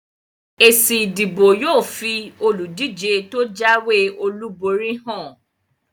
Èsì ìdìbò yóò fi olùdíje tó jáwé olúborí hàn